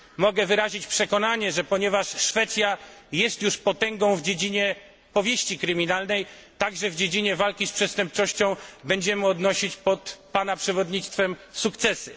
Mogę wyrazić przekonanie, że ponieważ Szwecja jest już potęgą w dziedzinie powieści kryminalnej, także w dziedzinie walki z przestępczością będziemy odnosić pod pana przewodnictwem sukcesy.